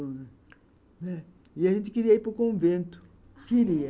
E a gente queria ir para o convento, queria.